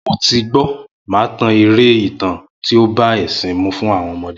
Mo ti gbó, màá tan eré ìtàn tí ó bá ẹ̀ṣìn mu fún àwọn ọmọde